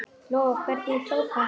Lóa: Hvernig tók hann því?